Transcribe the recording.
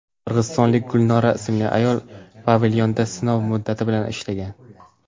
Qirg‘izistonlik Gulnora ismli ayol pavilyonda sinov muddati bilan ishlagan.